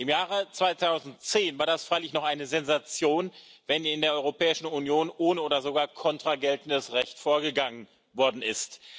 Im Jahr 2010 war das freilich noch eine Sensation, wenn in der Europäischen Union ohne oder sogar contra geltendes Recht vorgegangen worden ist.